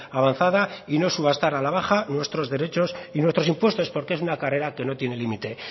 avanzada y no subastar a la baja nuestros derechos y nuestros impuestos porque es una carrera que no tiene límite